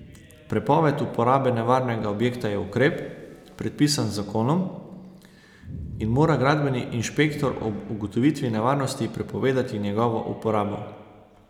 Prepoved uporabe nevarnega objekta je ukrep, predpisan z zakonom, in mora gradbeni inšpektor ob ugotovitvi nevarnosti prepovedati njegovo uporabo.